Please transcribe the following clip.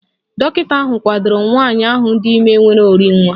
Dọkịta ahụ kwadoro nwanyị ahụ dị ime nwere orinwa